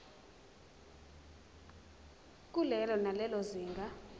kulelo nalelo zinga